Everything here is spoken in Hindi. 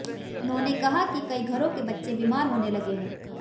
उन्होंने कहा कि कई घरों के बच्चे बीमार होने लगे हैं